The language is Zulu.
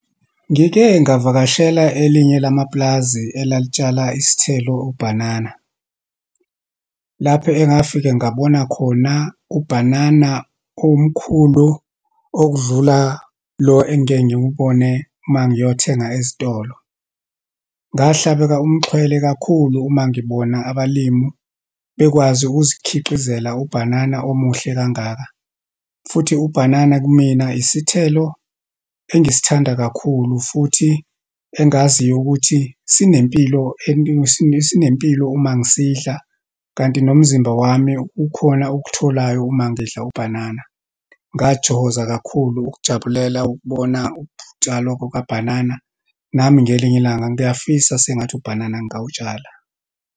Ngike ngavakashela elinye lamapulazi elalitshala isithelo, ubhanana. Lapho engafike ngabona khona ubhanana omkhulu okudlula lo engiye ngiwubone uma ngiyothenga ezitolo. Ngahlabeke umxhwele kakhulu uma ngibona abalimu bekwazi ukuzikhiqizela ubhanana omuhle kangaka. Futhi ubhanana kumina, isithelo engisithanda kakhulu futhi engaziyo ukuthi sinempilo sinempilo uma ngisidla. Kanti nomzimba wami kukhona okutholayo uma ngidla ubhanana. Ngathokoza kakhulu ukujabulela ukubona ukutshalwa kukabhanana. Nami ngelinye ilanga ngiyafisa sengathi ubhanana ngingawutshala.